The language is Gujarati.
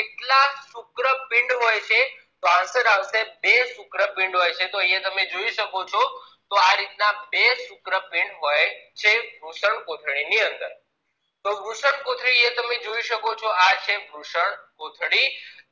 તો answer આવશે બે શુક્રપીંડ હોય છે તો અહિયાં તમે જોઈ શકો છો આ રીત ના બે શુક્રપિંડો હોય છે વૃષણકોથળી ની અંદર તો વૃષણકોથળી તમે જોઈ શકો છો તો આ છે વૃષણકોથળી